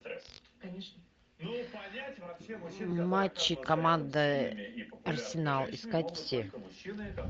матчи команды арсенал искать все